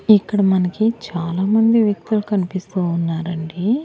ఇక్కడ మనకి చాలామంది వ్యక్తులు కనిపిస్తూ ఉన్నారండి.